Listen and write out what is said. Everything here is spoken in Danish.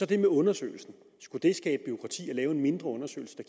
det med undersøgelsen skulle det skabe bureaukrati at lave en mindre undersøgelse der